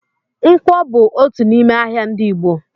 Ǹkwọ bú otu n'ime ahịa ndị Igbo